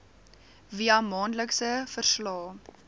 via maandelikse verslae